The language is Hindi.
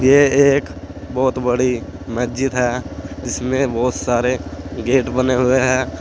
ये एक बहुत बड़ी मस्जिद है जिसमें बहुत सारे गेट बने हुए हैं।